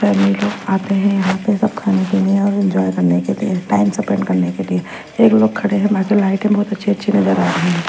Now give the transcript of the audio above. कई लोग आते हैं यहाँ पे सब खाने के लिए और एन्जॉय करने के लिए टाइम सपेंड करने के लिए एक लोग खड़े हैं मेगे लाईटें बहुत अच्छी अच्छी नज़र आ रही है।